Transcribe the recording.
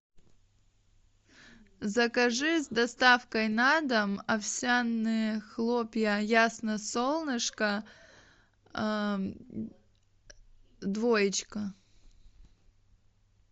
закажи с доставкой на дом овсяные хлопья ясно солнышко двоечка